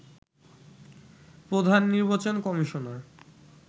প্রধাননির্বাচন commissioner